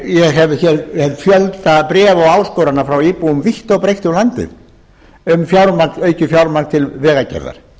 ég hef hér fjölda bréfa og áskorana frá íbúum vítt og breitt um landið um aukið fjármagn til vegagerðar